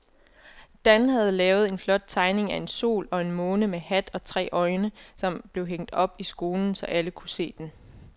Dan havde lavet en flot tegning af en sol og en måne med hat og tre øjne, som blev hængt op i skolen, så alle kunne se den.